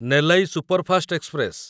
Nellai superfast express